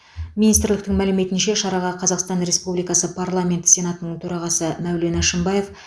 министрліктің мәліметінше шараға қазақстан республикасы парламенті сенатының төрағасы мәулен әшімбаев